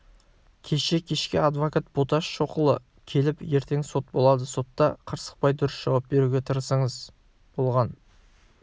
кеше кешке адвокат боташ шоқұлы келіп ертең сот болады сотта қырсықпай дұрыс жауап беруге тырысыңыз болған